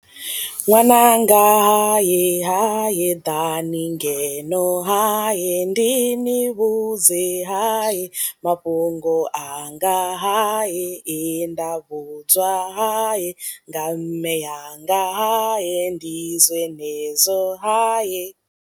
Ṅwananga haye haye ḓani ngeno haye ndi ni vhudze haye mafhungo anga haye he nda vhudzwa haye nga mme anga haye ndi zwenezwo haye.